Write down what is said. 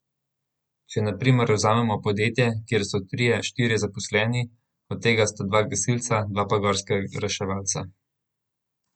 Če na primer vzamemo podjetje, kjer so trije, štirje zaposleni, od tega sta dva gasilca, dva pa gorska reševalca.